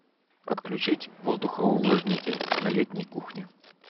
отключить воздухоувлажнитель на летней кухне